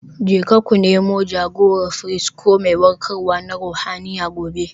Jeka ku Nemi jagorar firist ko mai warkarwa na ruhaniya gobe.